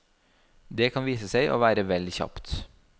Det kan vise seg å være vel kjapt.